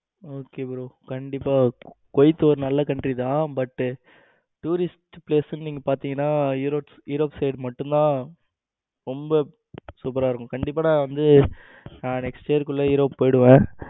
okay bro கண்டிப்பா குவைத்து ஒரு நல்ல countrys தான் but tourist place ணும் நீங்க பாத்தீங்கன்னா europe side மட்டும்தான் ரொம்ப சூப்பரா இருக்கும் கண்டிப்பா நான் வந்து நான் next year குள்ள europe போயிடுவேன்.